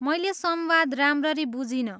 मैले संवाद राम्ररी बुझिनँ।